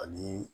Ani